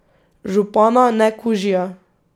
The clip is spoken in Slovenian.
Župana, ne kužija.